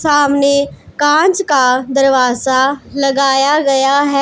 सामने कांच का दरवाजा लगाया गया है।